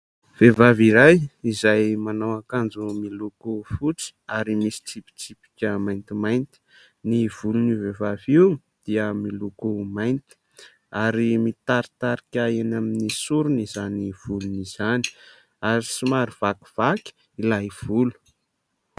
Vehivavy iray izay manao akanjo miloko fotsy ary misy tsipitsipika maintimainty. Ny volon'io vehivavy io dia miloko mainty ary mitaritarika eny amin'ny soriny izany volon' izany ary somary vakivaky ilay volo.